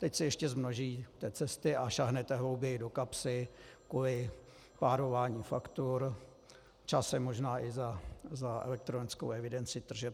Teď si ještě zmnožíte cesty a sáhnete hlouběji do kapsy kvůli párování faktur, časem možná i za elektronickou evidenci tržeb.